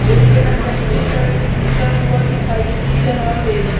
और यह व्यक्ति पैसे गिनता हुआ दिखाई दे रहा है।